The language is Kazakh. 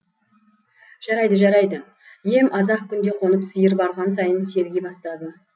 жарайды жарайды ем аз ақ күнде қонып сиыр барған сайын серги бастады